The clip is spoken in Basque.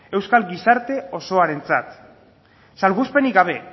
euskal gizarte osoarentzat salbuespenik gabe